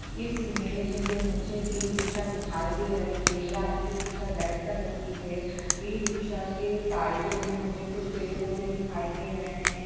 इस इमेज मे मुझे इ-रिक्शा दिखाई दे रही है या इ-रिक्शा रेड कलर की है इ-रिक्शा के साइड मे मुझे कुछ पेड़-पौधे दिखाई दे रहे है।